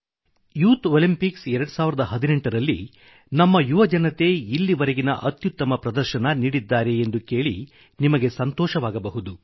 youth Olympics 2018 ರಲ್ಲಿ ನಮ್ಮ ಯುವಜನತೆ ಇಲ್ಲಿವರೆಗಿನ ಅತ್ಯುತ್ತಮ ಪ್ರದರ್ಶನ ನೀಡಿದ್ದಾರೆ ಎಂದು ಕೇಳಿ ನಿಮಗೆ ಸಂತೋಷವಾಗಬಹುದು